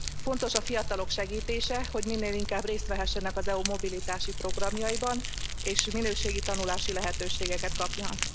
Fontos a fiatalok segítése, hogy minél inkább részt vehessenek az EU mobilitási programjaiban, és minőségi tanulási lehetőségeket kapjanak.